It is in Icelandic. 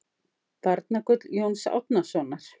Barnagull Jóns Árnasonar